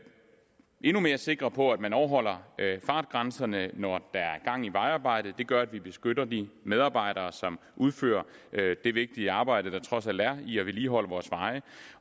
endnu mere sikre på at man overholder fartgrænserne når der er gang i vejarbejdet det gør at vi beskytter de medarbejdere som udfører det vigtige arbejde der trods alt er i at vedligeholde vores veje